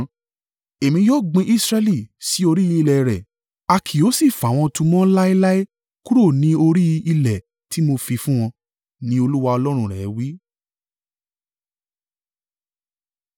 Èmi yóò gbin Israẹli sí orí ilẹ̀ rẹ̀. A kì yóò sì fà wọn tu mọ́ láéláé kúrò ni orí ilẹ̀ ti mo fi fún wọn,” ni Olúwa Ọlọ́run rẹ wí.